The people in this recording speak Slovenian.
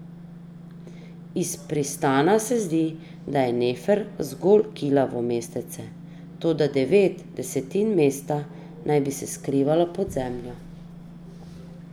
Iz pristana se zdi, da je Nefer zgolj kilavo mestece, toda devet desetin mesta naj bi se skrivalo pod zemljo.